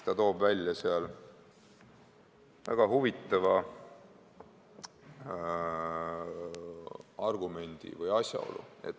Ta toob seal välja väga huvitava asjaolu.